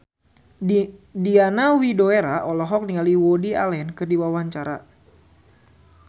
Diana Widoera olohok ningali Woody Allen keur diwawancara